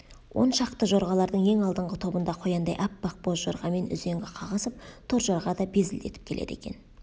он шақты жорғалардың ең алдыңғы тобында қояндай аппақ боз жорғамен үзеңгі қағысып торжорға да безілдетіп келеді екен